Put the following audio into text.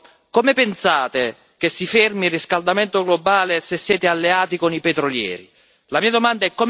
Allora io chiedo come pensate che si fermi il riscaldamento globale se siete alleati con i petrolieri?